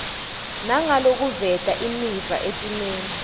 nangalokuveta imiva etimeni